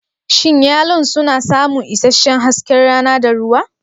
Shin yalon suna samun isasshen hasken rana da ruwa?